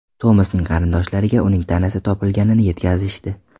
Tomasning qarindoshlariga uning tanasi topilganini yetkazishdi.